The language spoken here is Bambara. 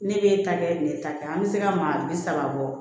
Ne b'e ta kɛ ne ta kɛ an bɛ se ka maa bi saba bɔ